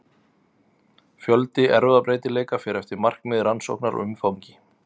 Fjöldi erfðabreytileika fer eftir markmiði rannsóknar og umfangi.